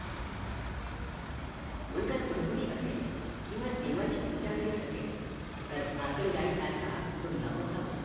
मुलगा दूर गुणी असेल किंवा देवाची पूजा करीत नसेल तर बाकर गाई सारखा तो नकोस होतो